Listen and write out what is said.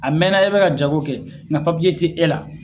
A mɛɛnna i bɛ ka jago kɛ nna papiye tɛ e la